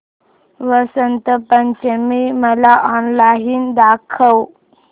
वसंत पंचमी मला ऑनलाइन दाखव